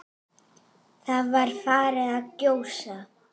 Það var farið að gjósa.